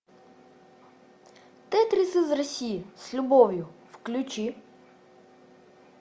тетрис из россии с любовью включи